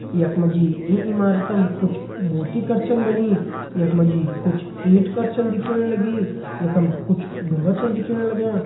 यख मा जी ईं इमारतम कुछ मूर्ति कर छन बणीं यख मा जी कुछ ईन्ट कर छन दिखेण लगीं यखम कुछ ढुन्गा छन दिखेण लग्यां।